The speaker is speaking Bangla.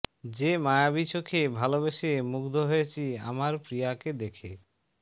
যে মায়াবী চোখে ভালোবেসে মুগ্ধ হয়েছি আমার প্রিয়াকে দেখে